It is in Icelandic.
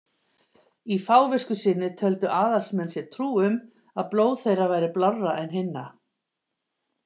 Í fávisku sinni töldu aðalsmenn sér trú um að blóð þeirra væri blárra en hinna.